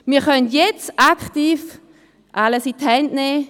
Wir können jetzt aktiv alles in die Hand nehmen.